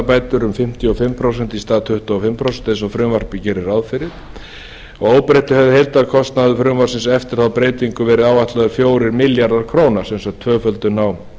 hámarksvaxtabætur um fimmtíu og fimm prósent í stað tuttugu og fimm prósent eins og frumvarpið gerir ráð fyrir að óbreyttu hefði heildarkostnaður frumvarpsins eftir þá breytingu verið áætlaður fjórir milljarðar króna sem sagt tvöföldun á